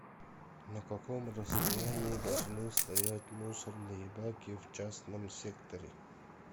на каком расстоянии должны стоять мусорные баки в частном секторе